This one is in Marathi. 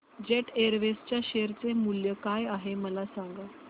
जेट एअरवेज च्या शेअर चे मूल्य काय आहे मला सांगा